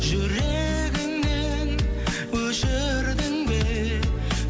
жүрегіңнен өшірдің бе